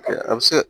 A bɛ se ka